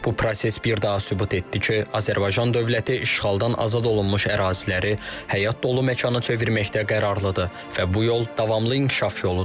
Bu proses bir daha sübut etdi ki, Azərbaycan dövləti işğaldan azad olunmuş əraziləri həyat dolu məkana çevirməkdə qərarlıdır və bu yol davamlı inkişaf yoludur.